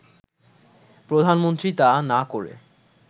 প্রধানমন্ত্রী তা না করে